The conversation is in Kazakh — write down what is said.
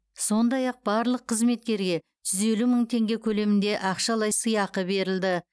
сондай ақ барлық қызметкерге жүз елу мың теңге көлемінде ақшалай сыйақы берілді